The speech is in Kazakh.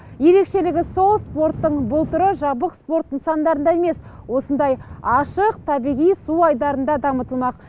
ерекшелігі сол спорттың бұл түрі жабық спорт нысандарында емес осындай ашық табиғи су айдарында дамытылмақ